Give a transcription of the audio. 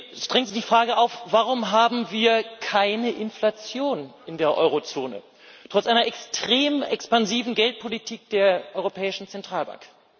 Es drängt sich die Frage auf Warum haben wir keine Inflation in der Eurozone trotz einer extrem expansiven Geldpolitik der Europäischen Zentralbank?